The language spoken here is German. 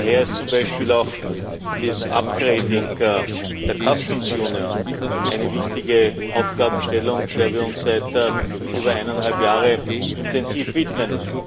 Daher ist zum Beispiel auch das upgrading der Zollunion eine wichtige Aufgabenstellung, der wir uns seit über eineinhalb Jahren intensiv widmen.